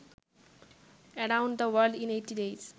around the world in eighty days